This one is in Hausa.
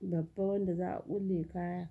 babba wanda za a ƙulle kaya.